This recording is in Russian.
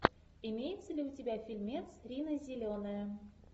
имеется ли у тебя фильмец рина зеленая